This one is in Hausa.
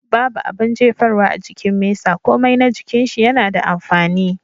Babu abun jefarwa a jikin mesa komai na jikin shi yana da amfani.